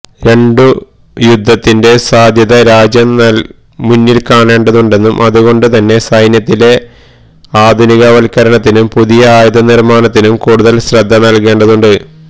രണ്ടു യുദ്ധത്തിന്റെ സാധ്യത രാജ്യം മുന്നില്കാണേണ്ടതുണ്ടെന്നും അതുകൊണ്ട് തന്നെ സൈന്യത്തിലെ ആധുനികവത്ക്കരണത്തിനും പുതിയ ആയുധ നിര്മാണത്തിനും കൂടുതല് ശ്രദ്ധ നല്കേണ്ടതുണ്ട്